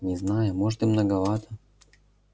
не знаю может и многовато